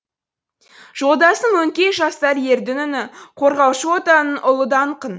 жолдасым өңкей жастар ердің үні қорғаушы отанының ұлы даңқын